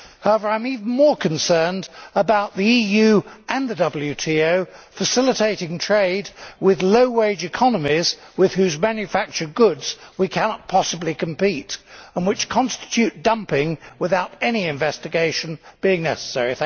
However, I am even more concerned about the EU and the WTO facilitating trade with low wage economies with whose manufactured goods we cannot possibly compete, and which constitute dumping, without any investigation being necessary.